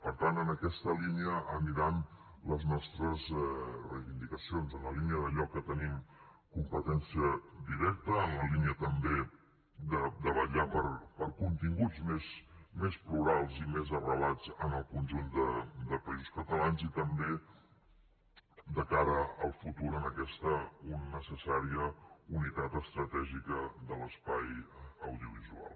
per tant en aquesta línia aniran les nostres reivindicacions en la línia d’allò en què tenim competència directa en la línia també de vetllar per continguts més plurals i més arrelats en el conjunt de països catalans i també de cara al futur en aquesta necessària unitat estratègica de l’espai audiovisual